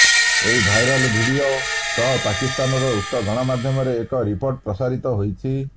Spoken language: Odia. ଏହି ଭାଇରାଲ ଭିଡିଓ ସହ ପାକିସ୍ତାନର ଉକ୍ତ ଗଣମାଧ୍ୟମରେ ଏକ ରିପୋର୍ଟ ପ୍ରସାରିତ ହୋଇଛି